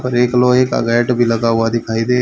और एक लोहे का गेट भी लगा हुआ दिखाई दे--